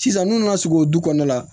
Sisan n'u nana sigi o du kɔnɔna la